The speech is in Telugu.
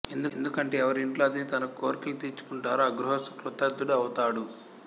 ఎందుకంటే ఎవరి ఇంట్లో అతిథి తన కోర్కెలు తీర్చుకుంటారో ఆ గృహస్థు కృతార్ధుడు ఔతాడు